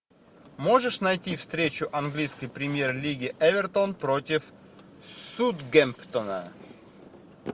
можешь найти встречу английской премьер лиги эвертон против саутгемптона